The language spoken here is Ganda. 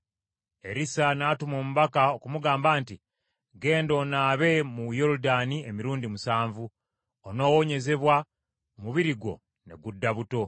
Erisa n’atuma omubaka okumugamba nti, “Genda, onaabe mu Yoludaani emirundi musanvu, onoowonyezebwa, omubiri gwo ne gudda buto.”